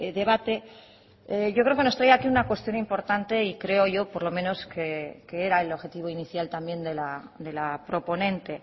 debate yo creo que nos trae aquí una cuestión importante y creo yo por lo menos que era el objetivo inicial también de la proponente